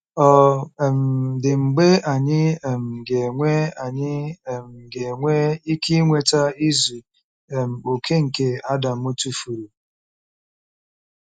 Ọ̀ um dị mgbe anyị um ga-enwe anyị um ga-enwe ike inweta izu um okè nke Adam tụfuru?